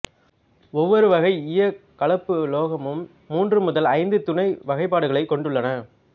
ஒவ்வொரு வகை ஈயக் கலப்புலோகமும் மூன்று முதல் ஐந்து துணை வகைபாடுகளைக் கொண்டுள்ளன